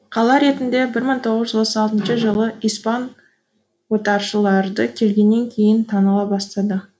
қала ретінде бір мың тоғыз жүз отыз алтыншы жылы испан отаршылдары келгеннен кейін таныла бастады